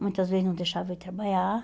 Muitas vezes não deixava eu ir trabalhar.